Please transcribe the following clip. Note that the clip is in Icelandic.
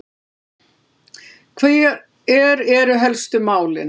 Hver eru helstu málin?